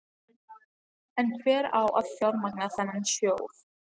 En hver á að fjármagna þennan sjóð?